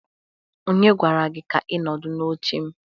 Onye gwara gi ka i nọdụ n'oche m?